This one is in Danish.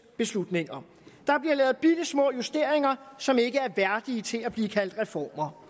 beslutninger der bliver lavet bittesmå justeringer som ikke er værdige til at blive kaldt reformer